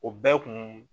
O bɛɛ kun